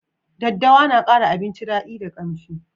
Daddawa na kara abinci dadi da ƙamshi